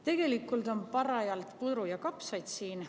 Tegelikult on parajalt putru ja kapsaid siin.